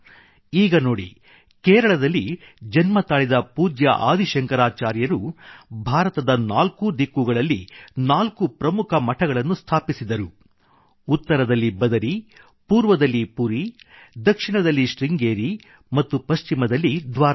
ಈಗ ನೋಡಿ ಕೇರಳದಲ್ಲಿ ಜನ್ಮತಾಳಿದ ಪೂಜ್ಯ ಆದಿ ಶಂಕರಾಚಾರ್ಯರು ಭಾರತದ ನಾಲ್ಕೂ ದಿಕ್ಕುಗಳಲ್ಲಿ ನಾಲ್ಕು ಪ್ರಮುಖ ಮಠಗಳನ್ನು ಸ್ಥಾಪಿಸಿದರು ಉತ್ತರದಲ್ಲಿ ಬದರಿ ಪೂರ್ವದಲ್ಲಿ ಪೂರಿ ದಕ್ಷಿಣದಲ್ಲಿ ಶೃಂಗೇರಿ ಮತ್ತು ಪಶ್ಚಿಮದಲ್ಲಿ ದ್ವಾರಕಾ